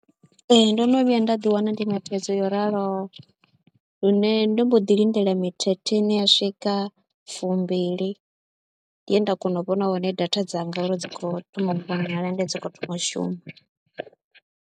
Ee ndo no vhuya nda ḓiwana ndi na thaidzo yo raloho lune ndo mbo ḓi lindela mithethe ine ya swika fumbili, ndi he nda kona u vhona hone data dzanga uri dzi khou thoma u vhonala ende dzi khou thoma u shuma.